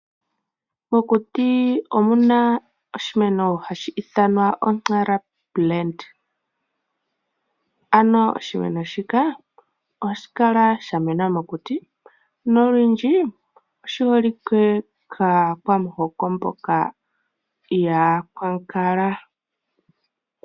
Mokuti omuna oshimeno hashi ithanwa "Nara plant", ano oshimeno shika ohashi kala sha mena mokuti nolundji oshi holike kaakwamuhoko mboka yaakwankala.